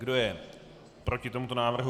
Kdo je proti tomuto návrhu?